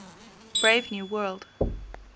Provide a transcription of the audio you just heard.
brave new world